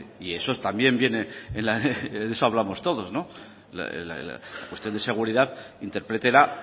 y eso es también vienen en de eso hablamos todos la cuestión de seguridad interprétela